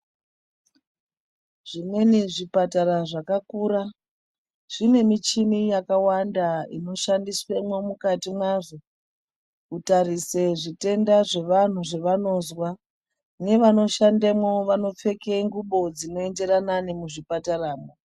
Zvimweni zvipatara zvakakura zvine michini yakawanda inoshandiswemwo mukati mwazvo kutarise zvitenda zvevanhu zvevanozwa nevanoshandemqo vanopfeke ngubo dzinoenderana nemuzvi pataramwo.